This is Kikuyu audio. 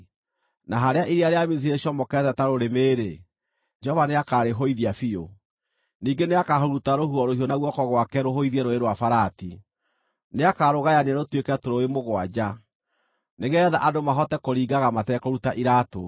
Na harĩa iria rĩa Misiri rĩcomokete ta rũrĩmĩ-rĩ, Jehova nĩakarĩhũithia biũ; ningĩ nĩakahuruta rũhuho rũhiũ na guoko gwake rũhũithie Rũũĩ rwa Farati. Nĩakarũgayania rũtuĩke tũrũũĩ mũgwanja, nĩgeetha andũ mahote kũringaga matekũruta iraatũ.